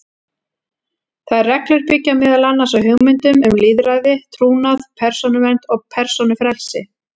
Þær reglur byggja meðal annars á hugmyndum um lýðræði, trúnað, persónuvernd og persónufrelsi.